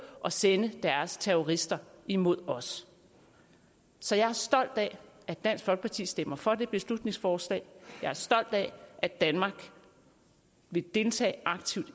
og sende deres terrorister imod os så jeg er stolt af at dansk folkeparti stemmer for beslutningsforslaget jeg er stolt af at danmark vil deltage aktivt